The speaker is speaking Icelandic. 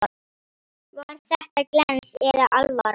Var þetta glens eða alvara?